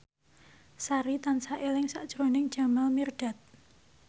Sari tansah eling sakjroning Jamal Mirdad